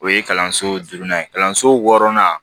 O ye kalanso durunan ye kalanso wɔɔrɔnan